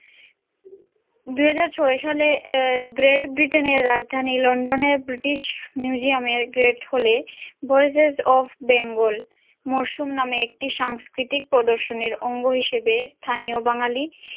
দুইহাজারছয় সালে great britain এর রাজধানী london এর british museum এর great hall এ voices of bengal মরসুম নামে একটি সাংস্কিতিক প্রদর্শনের অঙ্গ হিসাবে স্থানীয় বাঙালী।